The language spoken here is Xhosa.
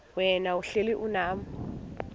wena uhlel unam